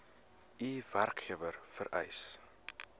u werkgewer vereis